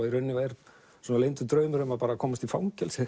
í rauninni er leyndur draumur um að komast í fangelsi